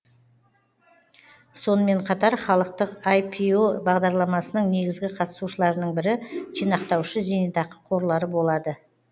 сонымен қатар халықтық іро бағдарламасының негізгі қатысушыларының бірі жинақтаушы зейнетақы қорлары болады